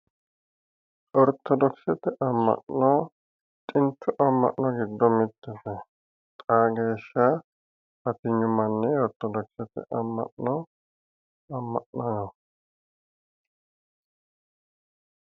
Ortodokisete ama'no xintu ama'no gido mittete xaa geesha batinyu manni ortodokisete ama'no ama'naho.